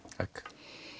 takk